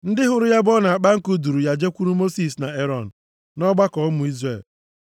Ndị hụrụ ya ebe ọ na-akpa nkụ duuru ya jekwuru Mosis na Erọn na ọgbakọ ụmụ Izrel.